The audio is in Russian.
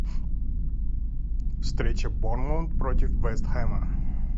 встреча борнмут против вест хэма